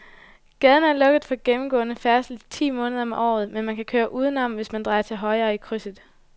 Gaden er lukket for gennemgående færdsel ti måneder om året, men man kan køre udenom, hvis man drejer til højre i krydset.